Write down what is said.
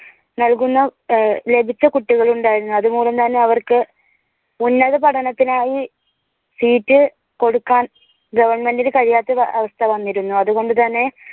നൽകുന്ന ലഭിച്ച കുട്ടികൾ ഉണ്ടായിരുന്നു. അതുമൂലം തന്നെ അവർക്ക് ഉന്നത പഠനത്തിനായി seat കൊടുക്കാൻ govt ഇനും കഴിയാത്ത അവസ്ഥ തന്നെ വന്നിരുന്നു